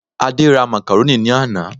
Adé ra Macaroni ní àná